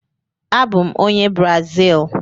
Abụ m onye Brazil.